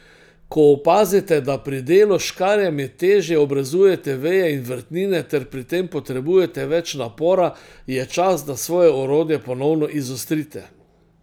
Ko opazite, da pri delu s škarjami težje obrezujete veje in vrtnine ter pri tem potrebujete več napora, je čas, da svoje orodje ponovno izostrite.